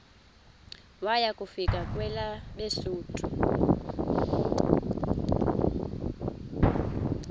waya kufika kwelabesuthu